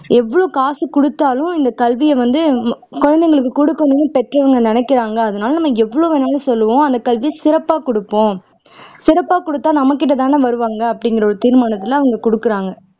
எவ்வளவு காசு குடுத்தாலும் இந்த கல்வியை வந்து குழந்தைகளுக்கு குடுக்கணும்னு பெற்றோர்கள் நினைக்கிறாங்க அதுனால நம்ம எவ்வளவு வேணும்னாலும் சொல்லுவோம் அந்த கல்வியை சிறப்பா குடுப்போம் சிறப்பா குடுத்தா நம்மகிட்டதான வருவாங்க அப்படிங்கிற ஒரு தீர்மானத்துல அவங்க குடுக்குறாங்க